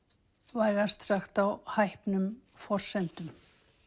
vægast sagt á hæpnum forsendum